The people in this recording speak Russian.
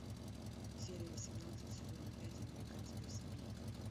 серия восемнадцать сезона пять американская семейка